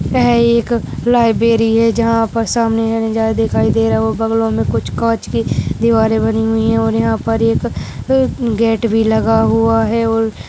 वह एक लाइब्रेरी है जहाँ पर सामने का नजारा दिखाई दे रहा है और बंगलो में कुछ कांच के दीवारें बनी हुई हैं और यहाँ पर एक गेट भी लगा हुआ है और --